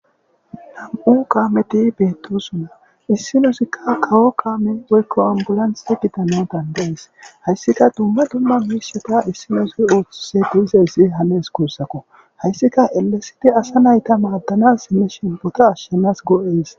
nam7u kaameti beettosuna issinosikka kawo kaame woykko ambulanthi gidanon dandaees hayssika dumma dumma miishata issinosu ooththise duizayssi hanes kuussako hayssika elesiti asa nayta maaddanas sinne shembota ashshenas goo7ees